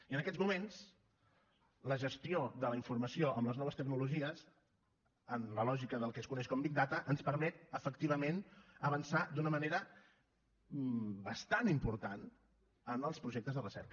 i en aquests moments la gestió de la informació amb les noves tecnologies en la lògica del que es coneix com a big data ens permet efectivament avançar d’una manera bastant important en els projectes de recerca